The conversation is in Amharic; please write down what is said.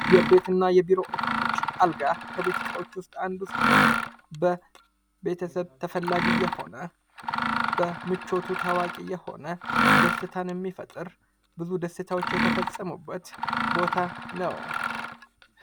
የቤትና የቢሮ እቃዎች አልጋ፡- ከቤት ዕቃዎች ውስጥ አንዱ ሲሆን በቤተሰብ ተፈላጊ የሆነ በምቹት ታዋቂ የሆነ ደስታን የሚፈጥር ብዙ ደስታዎች የተፈጸሙበት ቦታ ነው።